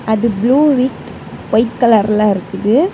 அது blue with white கலர்ல இருக்குது.